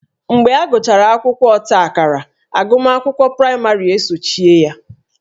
Mgbe agụchara akwụkwọ ọtaakara agụmakwụkwọ praịmarị esochie ya